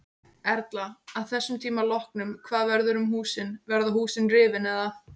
Erla: Að þessum tíma loknum hvað verður um húsin, verða húsin rifin eða?